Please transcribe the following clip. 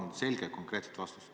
Palun selget ja konkreetset vastust.